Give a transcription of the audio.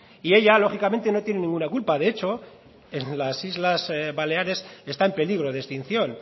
y ella lógicamente no tiene ninguna culpa de hecho en las islas baleares está en peligro de extinción